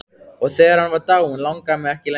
Og þegar hann var dáinn langaði mig ekki lengur.